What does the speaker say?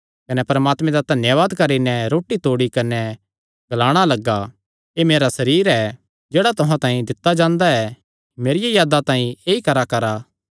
कने परमात्मे दा धन्यावाद करी नैं रोटी तोड़ी कने ग्लाणा लग्गा एह़ मेरा सरीर ऐ जेह्ड़ा तुहां तांई दित्ता जांदा ऐ मेरिया यादा तांई ऐई कराकरा